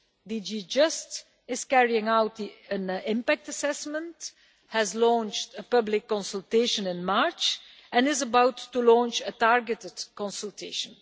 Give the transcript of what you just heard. DG JUST is carrying out an impact assessment, has launched a public consultation in March and is about to launch a targeted consultation.